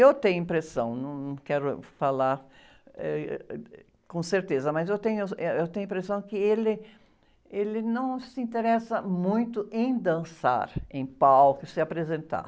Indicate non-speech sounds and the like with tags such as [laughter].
Eu tenho impressão, num, não quero falar, eh, com certeza, mas eu tenho, [unintelligible] eh, eu tenho impressão que ele, ele não se interessa muito em dançar em palco, se apresentar.